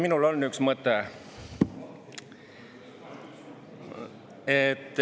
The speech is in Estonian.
Minul on üks mõte.